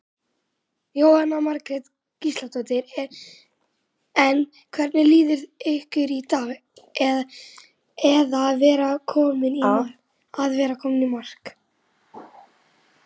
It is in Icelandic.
Jóhanna Margrét Gísladóttir: En hvernig líður ykkur í dag að vera komin í mark?